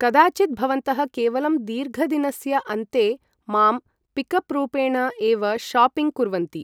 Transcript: कदाचित् भवन्तः केवलं दीर्घदिनस्य अन्ते मां पिकअपरूपेण एव शॉपिङ्गं कुर्वन्ति।